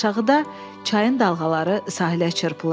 Aşağıda çayın dalğaları sahilə çırpılırdı.